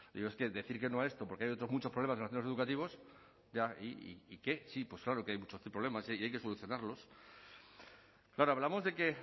digo es que decir que no a esto porque hay otros muchos problemas en los centros educativos ya y qué sí claro que hay muchos problemas y hay que solucionarlos claro hablamos de que